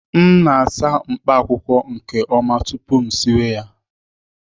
M na-asa mkpaakwụkwọ nke ọma tupu m siwe ha